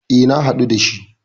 E, na haɗu da shi.